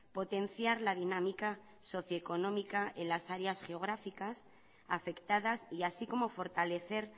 potenciar la dinámica socioeconómica en las áreas geográficas afectadas y así como fortalecer